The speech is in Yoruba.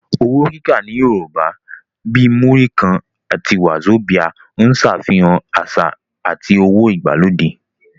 Owó kíkà ní Yorùbá, bíi Múrí kan (20 naira) àti wàzobíà (50 naira) ń ṣàfihàn àṣà àti owó ìgbàlódé